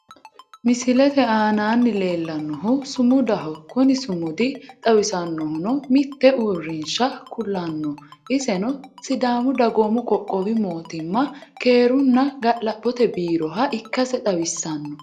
Misilette aanaanni leellannohu sumudaho kuni sumudi xawissannohunno mitte uurinsha kulanno iseno sidaamu dagoomu qoqqowi mootimma keerunna ga'labote biiroha ikassi xawisanno